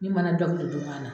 Ne ma na jɔn kelen juma na